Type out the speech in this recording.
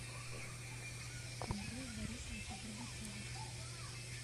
андрея борисовича горбачева